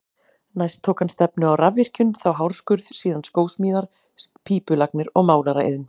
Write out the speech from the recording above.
Næst tók hann stefnu á rafvirkjun, þá hárskurð, síðan skósmíðar, pípulagnir og málaraiðn.